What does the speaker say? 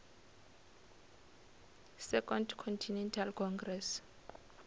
second continental congress